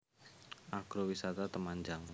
Agro Wisata Temanjang